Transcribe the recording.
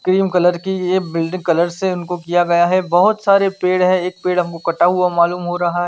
Cream colour कि ये building colour से इनको किया गया है बहोत सारे पेड़ हैं एक पेड़ हमको कटा हुआ मालुम हो रहा है।